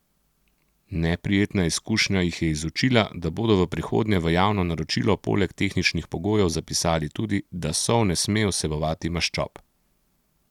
Neprijetna izkušnja jih je izučila, da bodo v prihodnje v javno naročilo poleg tehničnih pogojev zapisali tudi, da sol ne sme vsebovati maščob.